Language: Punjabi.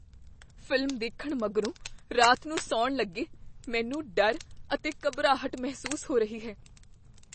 ਫ਼ਿਲਮ ਦੇਖਣ ਮਗਰੋਂ ਰਾਤ ਨੂੰ ਸੌਣ ਲੱਗੇ ਮੈਨੂੰ ਡਰ ਅਤੇ ਘਬਰਾਹਟ ਮਹਿਸੂਸ ਹੋ ਰਹੀ ਹੈ ।